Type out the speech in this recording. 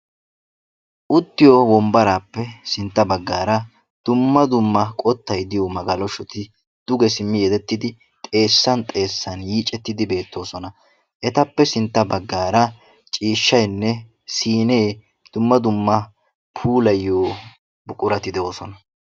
uttiyo wonbbaraappe sintta bagaara dumma dumma qottay diyo magalashoti duge simmi yedettidi xeessan xeessan yiiccettidi beettoosona. etappe sintta baggaara ciishshaynne siinee, dumma dumma puulayiyo buqurati de'oosona.